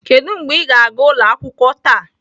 Kedu mgbe ịga gaa ụlọ akwụkwọ taa?